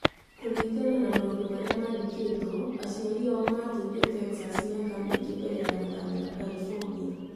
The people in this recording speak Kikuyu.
Kũringana na maũndũ marĩa maandĩkĩtwo, aciari acio matũire Texas mĩaka mĩingĩ mbere ya gũthamĩra California.